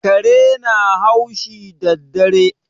Kare na haushi daddare.